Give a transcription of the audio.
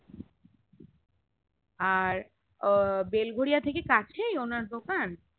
আর আহ বেলগোরিয়া থেকে কাছেই ওনার দোকান